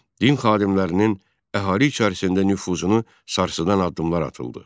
Din xadimlərinin əhali içərisində nüfuzunu sarsıdan addımlar atıldı.